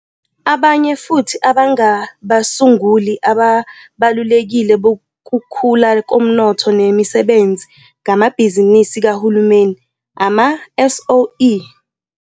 Abanye futhi abangabasunguli ababalulekile bokukhula komnotho nemisebenzi ngamabhizinisi kahulumeni, ama-SOE.